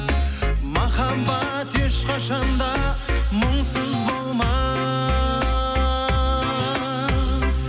махаббат ешқашан да мұңсыз болмас